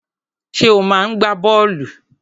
Ṣé ò máa ń gbá bọ́ọ̀lù?